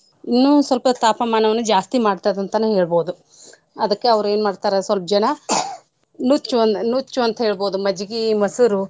ಇನ್ನೂ ಸ್ವಲ್ಪ ತಾಪಮಾನವನ್ನು ಜಾಸ್ತಿ ಮಾಡ್ತದ್ ಅಂತನೇ ಹೇಳ್ಬೋದು. ಅದ್ಕ ಅವ್ರ ಏನ್ ಮಾಡ್ತಾರ ಸ್ವಲ್ಪ ಜನ ನುಚ್ಚು ಒಂದ್ ನುಚ್ಚು ಅಂತ ಹೇಳ್ಬೋದು ಮಜ್ಗಿ ಮೊಸರು.